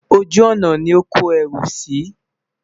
ojú ònà ní ọ kò ẹrú sí